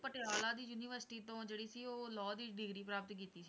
ਪਟਿਆਲਾ ਦੀ university ਤੋਂ ਜਿਹੜੀ ਸੀ ਉਹ law ਦੀ degree ਪ੍ਰਾਪਤ ਕੀਤੀ ਸੀ।